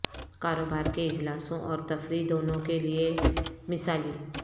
کاروبار کے اجلاسوں اور تفریح دونوں کے لئے مثالی